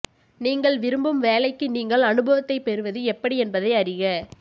நீங்கள் விரும்பும் வேலைக்கு நீங்கள் அனுபவத்தைப் பெறுவது எப்படி என்பதை அறிக